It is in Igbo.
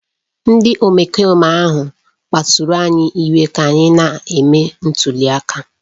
Ndị omekome ahụ kpasuru anyị iwe ka anyị na-eme ntuli aka